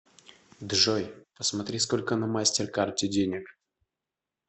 джой посмотри сколько на мастер карте денег